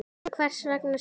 En hvers vegna spírur?